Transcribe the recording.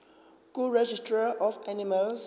kuregistrar of animals